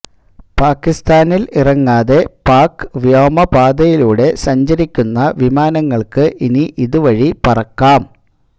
പാകിസ്ഥാനില് ഇറങ്ങാതെ പാക് വ്യോമപാതയിലൂടെ സഞ്ചരിക്കുന്ന വിമാനങ്ങള്ക്ക് ഇനി ഇതുവഴി പറക്കാം